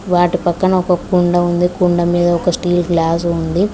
వాటి పక్కన ఒక కుండ ఉంది కుండ మీద ఒక స్టిల్ గ్లాస్ ఉంది.